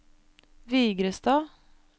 Vigrestad